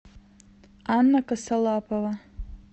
анна косолапова